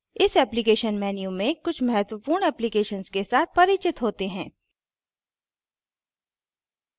इस applications menu में कुछ महत्वपूर्ण applications के साथ परिचित होते हैं